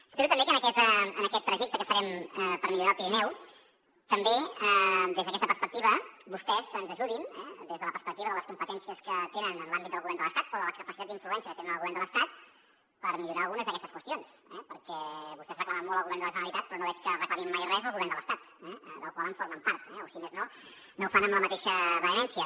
espero que en aquest trajecte que farem per millorar el pirineu també des d’aquesta perspectiva vostès ens ajudin des de la perspectiva de les competències que tenen en l’àmbit del govern de l’estat o de la capacitat d’influència que tenen en el govern de l’estat per millorar algunes d’aquestes qüestions perquè vostès reclamen molt al govern de la generalitat però no veig que reclamin mai res al govern de l’estat del qual en formen part o si més no no ho fan amb la mateixa vehemència